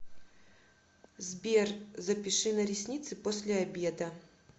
сбер запиши на ресницы после обеда